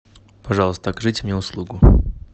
пожалуйста окажите мне услугу